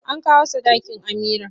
An kawo sadakin Amira.